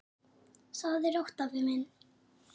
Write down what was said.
Sofðu rótt, afi minn.